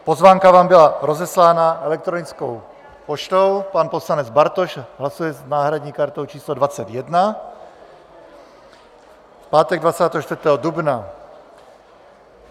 Pozvánka vám byla rozeslána elektronickou poštou - pan poslanec Bartoš hlasuje s náhradní kartou číslo 21 - v pátek 24. dubna.